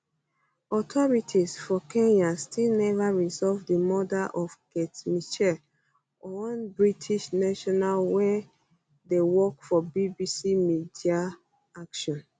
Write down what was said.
authorities for kenya still neva resolve di murder of kate mitchell one british national wey dey work for bbc media action